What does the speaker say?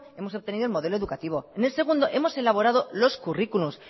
hemos obtenido el modelo educativo en el segundo hemos elaborado los currículums